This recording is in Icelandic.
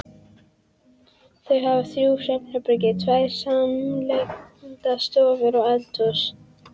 Þau hafa þrjú svefnherbergi, tvær samliggjandi stofur og eldhús.